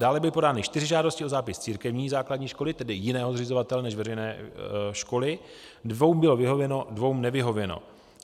Dále byly podány 4 žádosti o zápis církevní základní školy, tedy jiného zřizovatele než veřejné školy, dvěma bylo vyhověno, dvěma nevyhověno.